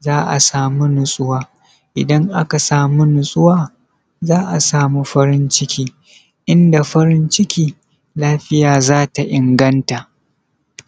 za a samu nutsuwa idan aka samu nutsuwa za a samu farin ciki idan da farin ciki lafiya zata inganta